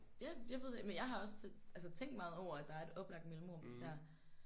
Ja jeg ved men jeg har også altså tænkt meget over at der er et oplagt mellemrum dér